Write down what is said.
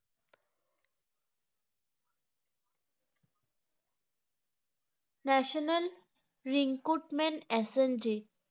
national recruitment assistant